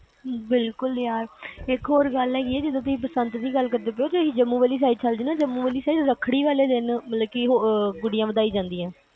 ਬਿਲਕੁਲ ਯਾਰ ਇੱਕ ਹੋਰ ਗੱਲ ਹੈਗੀ ਆ ਜਦੋ ਤੁਸੀਂ ਬਸੰਤ ਦੀ ਗੱਲ ਕਰਦੇ ਪਏ ਓ ਜੰਮੂ ਵਾਲੀ ਸਾਈਡ ਜਾਓ ਤੇ ਜੰਮੂ ਵਾਲੀ side ਰੱਖੜੀ ਵਾਲੇ ਦਿਨ ਗੁੱਡੀਆਂ ਵਧਾਈਆਂ ਜਾਂਦੀਆਂ